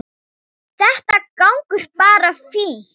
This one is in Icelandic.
Þetta gengur bara fínt.